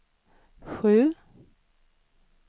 sju